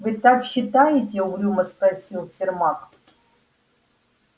вы так считаете угрюмо спросил сермак